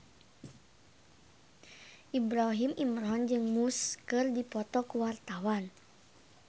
Ibrahim Imran jeung Muse keur dipoto ku wartawan